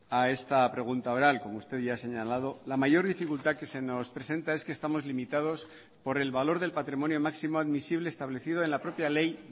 a esta pregunta oral como usted ya ha señalado la mayor dificultad que se nos presenta es que estamos limitados por el valor del patrimonio máximo admisible establecido en la propia ley